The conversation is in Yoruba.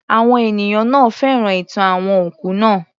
Àwọn ènìyàn náà féràn ìtàn àwọn òkú naa